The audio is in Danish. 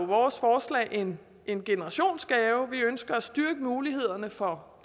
vores forslag en en generationsgave hvor vi ønsker at styrke mulighederne for